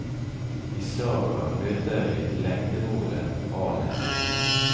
I sagaene møter vi lengdemålet alen.